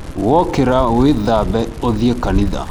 Wokĩra wĩthambe uthiĩ kanitha.